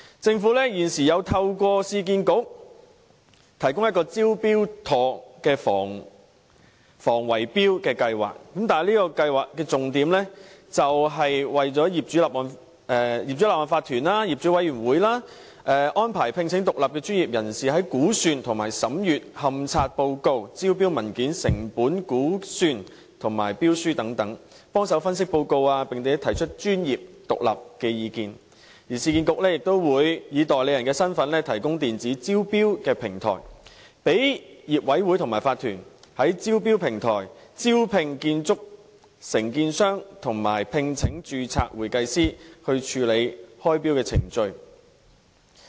政府現時透過市區重建局提供"招標妥"的防止圍標計劃，這計劃的重點是為法團及業主委員會安排聘請獨立專業人士，在估算和審閱勘察報告、招標文件、成本估算及標書分析報告方面提供協助，並提出專業獨立的意見，而市建局也會以代理人身份提供電子招標平台，讓業委會或法團在招標平台招聘建築承建商及聘請註冊會計師，以處理開標程序。